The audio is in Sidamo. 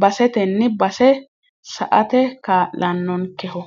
basetenni base sa"ate kaa'lannonkkeho.